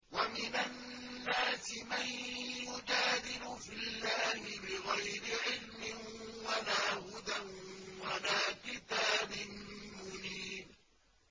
وَمِنَ النَّاسِ مَن يُجَادِلُ فِي اللَّهِ بِغَيْرِ عِلْمٍ وَلَا هُدًى وَلَا كِتَابٍ مُّنِيرٍ